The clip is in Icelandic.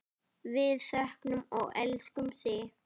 Við söknum og elskum þig.